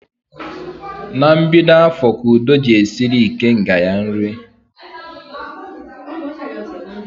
Na mbido afọ ka Udo ji esiri ikenga ya nri